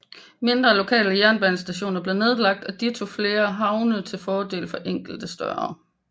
Mindre lokale jernbanestationer blev nedlagt og ditto flere havne til fordel for enkelte større